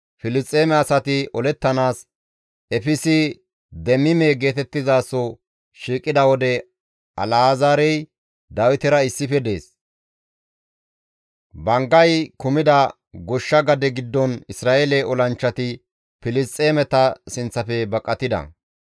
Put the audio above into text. Filisxeeme asati olettanaas Efsi-Deemime geetettizaso shiiqida wode Alazaarey Dawitera issife dees; banggay kumida goshsha gade giddon Isra7eele olanchchati Filisxeemeta sinththafe baqatida.